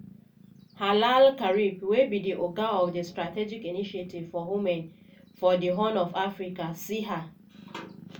hala al-karib wey be di oga of di strategic initiative for women for di horn of africa (siha)